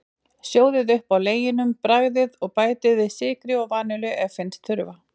Sjóðið upp á leginum, bragðið, og bætið við sykri og vanillu ef ykkur finnst þurfa.